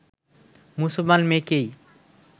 মুসলমান মেয়েকেই